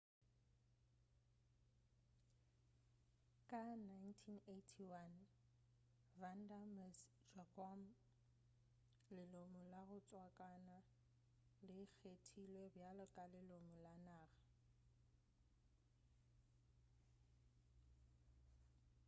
ka 1981 vanda miss joaquim lelomo la go tswakana le kgethilwe bjalo ka lelomo la naga